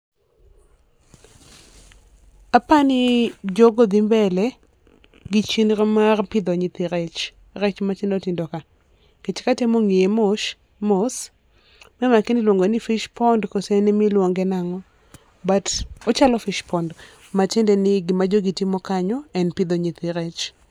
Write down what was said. Apani jo go dhi mbele gi chenro mar pidho nyithi rech. Rech ma tindo tindo ka nikech ka atemo ng'iye mosh mos ma ema akia ni iluonge ni fish pond kata iluonge nang'o but ochalo fish pond ma tiende ni gi ma jogi timo kanyo en pidho nyithi rech.